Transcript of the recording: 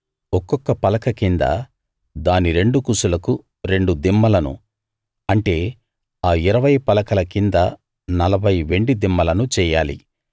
ఒక్కొక్క పలక కింద దాని రెండు కుసులకు రెండు దిమ్మలను అంటే ఆ ఇరవై పలకల కింద నలభై వెండి దిమ్మలను చెయ్యాలి